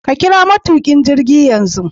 Ka kira matukin jirgi yanzu